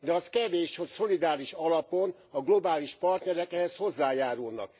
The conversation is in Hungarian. De az kevés, hogy szolidáris alapon a globális partnerek ehhez hozzájárulnak.